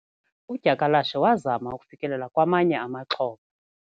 Udyakalashe wazama ukufikelela kwamanye amaxhoba.